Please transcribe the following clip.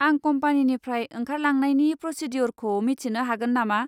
आं कम्पानिनिफ्राय ओंखारलांनायनि प्र'सिडिय'रखौ मिथिनो हागोन नामा?